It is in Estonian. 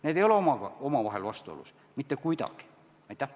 Need ei ole omavahel mitte kuidagi vastuolus.